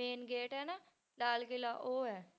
main gate ਹੈ ਨਾ ਲਾਲ ਕਿਲ੍ਹਾ ਉਹ ਹੈ।